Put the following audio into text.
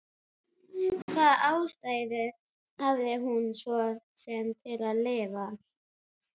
Hvaða ástæðu hafði hún svo sem til að lifa?